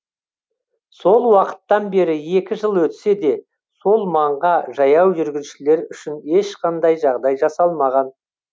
сол уақыттан бері екі жыл өтсе де сол маңға жаяу жүргіншілер үшін ешқандай жағдай жасалмаған